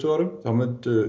árum þá hefði